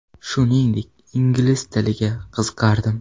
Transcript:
Shuningdek, ingliz tiliga qiziqardim.